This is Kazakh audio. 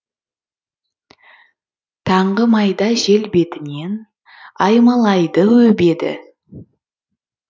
таңғы майда жел бетінен аймалайды өбеді